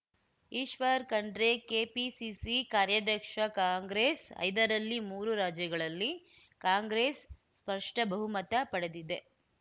Eshwar Khandre KPCC ಕಾರ್ಯಾಧ್ಯಕ್ಷ Congress ಐದರಲ್ಲಿ ಮೂರು ರಾಜ್ಯಗಳಲ್ಲಿ ಕಾಂಗ್ರೆಸ್‌ ಸ್ಪಷ್ಟಬಹುಮತ ಪಡೆದಿದೆ